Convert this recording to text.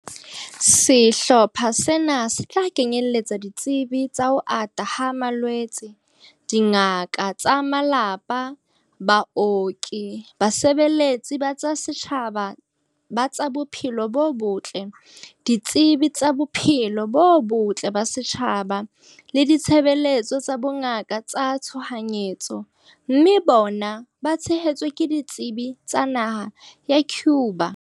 Sehlopha sena se tla kenyeletsa ditsebi tsa ho ata ha malwetse, dingaka tsa malapa, baoki, basebeletsi ba tsa setjhaba ba tsa bophelo bo botle, ditsebi tsa bophelo bo botle ba setjhaba le ditshebeletso tsa bongaka tsa tshohanyetso, mme bona ba tshehetswe ke ditsebi tsa naha ya Cuba.